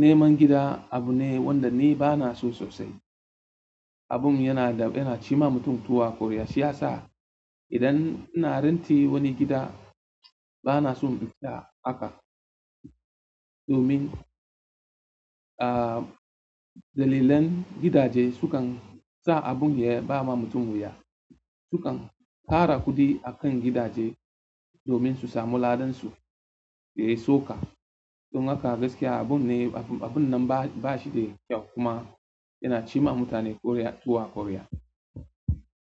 neman gida abu ne wanda ni ba na so sosai. Abun yana da yana cima mutum tuwa ƙorya siyasa. Idan ina ranti wani gida, ba na so in fita haka domin, aa, dalilan gidaje sukan sa abun ya ba ma mutum wuya. Su kan tara kuɗi a kan gidaje domin su samu ladansu dai suka. Don haka gaskiya, abun ne abun nan ba shi da kyau kuma yana cima mutane ƙorya tuwa ƙorya.